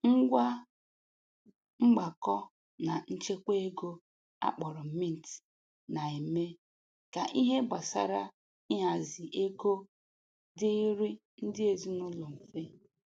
Ngwa mgbakọ na nchekwa ego a kpọrọ mint na-eme ka ihe gbasara ịhazi ego dịịrị ndị ezinụlọ mfe